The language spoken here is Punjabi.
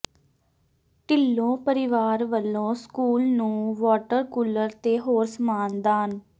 ਢਿੱਲੋਂ ਪਰਿਵਾਰ ਵੱਲੋਂ ਸਕੂਲ ਨੂੰ ਵਾਟਰ ਕੂਲਰ ਤੇ ਹੋਰ ਸਮਾਨ ਦਾਨ